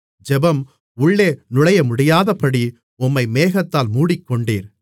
ஜெபம் உள்ளே நுழையமுடியாதபடி உம்மை மேகத்தால் மூடிக்கொண்டீர்